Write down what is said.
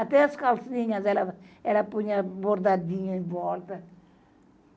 Até as calcinhas ela, ela punha bordadinha em volta.